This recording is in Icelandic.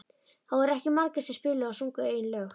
Það voru ekki margir sem spiluðu og sungu eigin lög.